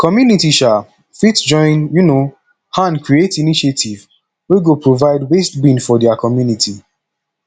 community um fit join um hand create initiative wey go provide waste bin for their community